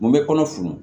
Mun bɛ kɔnɔ funu